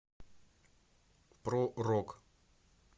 про рок